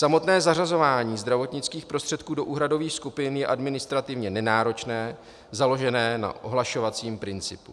Samotné zařazování zdravotnických prostředků do úhradových skupin je administrativně nenáročné, založené na ohlašovacím principu.